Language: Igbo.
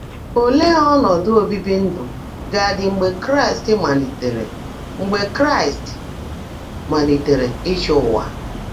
Óleé ọ́nọ́dụ́ óbìibì ndụ́ gá-ádị́ mgbe Kráịst máliitèèré mgbe Kráịst máliitèèré ị́chị́ ụ́wà?